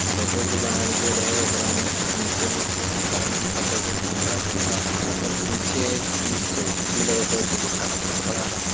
Photo जे बनाएल गयल है ओकरा में कुछ नीचे में कुछ गाड़ी दिखा पूरा धुंधला-धुंधला है ओकर पीछे एक पुलिस चौकसी लगा हाय दुगो टावर खड़ा है।